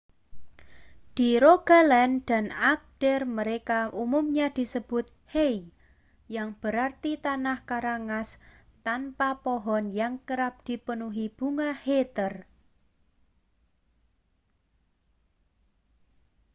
di rogaland dan agder mereka umumnya disebut hei yang berarti tanah kerangas tanpa pohon yang kerap dipenuhi bunga heather